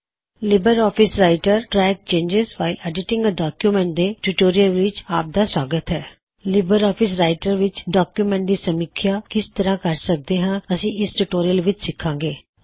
Libre office Writer track changes while editing a document ਦੇ tutorial ਵਿੱਚ ਆਪ ਦਾ ਸੁਆਗਤ ਹੈ ਇਸ ਟਿਊਟੋਰਿਯਲ ਵਿੱਚ ਤੁਸੀਂ ਜਾਨਕਾਰੀ ਲਵੋਂ ਗੇ ਕੀ ਅਸੀ ਲਿਬਰ ਆਫਿਸ ਰਾਇਟਰ ਵਿੱਚ ਡੌਕਯੁਮੈੱਨਟਜ਼ ਦੀ ਸਮੀਖਿਆ ਰੀਵਿਊ ਰਿਵਿਊ ਕਿਸ ਤਰਹ ਕਰ ਸਕਦੇ ਹਾਂ